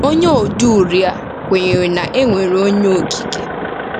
Onye odeuri a kwenyere na e nwere Onye Okike.